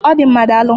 Ọ dị mma, daalụ.